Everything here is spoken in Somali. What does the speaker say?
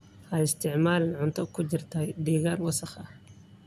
Ha isticmaalin cunto ku jirtay deegaan wasakh ah.